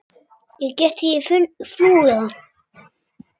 Ég get ekki flúið hann.